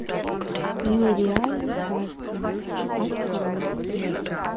нереальный кастинг открой